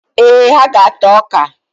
Ee, ha ga-ata ọka.